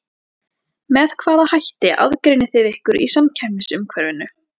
Með hvaða hætti aðgreinið þið ykkur í samkeppnisumhverfinu?